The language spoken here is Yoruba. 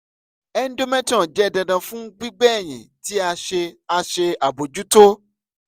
endometrium jẹ dandan fun gbigbe ẹyin ti a ṣe a ṣe abojuto